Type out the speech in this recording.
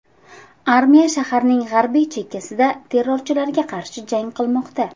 Armiya shaharning g‘arbiy chekkasida terrorchilarga qarshi jang qilmoqda.